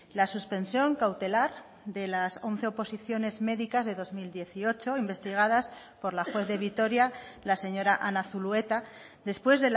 la suspensión cautelar de las once oposiciones médicas de dos mil dieciocho investigadas por la juez de vitoria la señora ana zulueta después